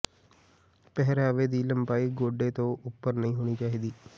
ਪਹਿਰਾਵੇ ਦੀ ਲੰਬਾਈ ਗੋਡੇ ਤੋਂ ਉੱਪਰ ਨਹੀਂ ਹੋਣੀ ਚਾਹੀਦੀ